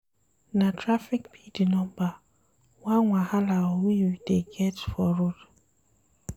Na traffic be di number one wahala we dey get for road.